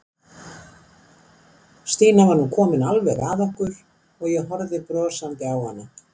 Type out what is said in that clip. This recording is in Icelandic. Stína var nú komin alveg að okkur og ég horfði brosandi á hana.